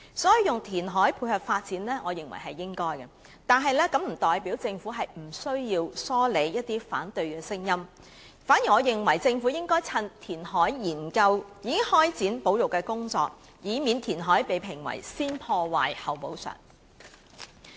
因此，我認為應該進行填海以配合發展，但這並不代表政府無需疏理反對聲音，我認為政府應該在研究填海時便開展保育工作，以免填海被評為先破壞、後補償。